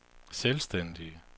selvstændige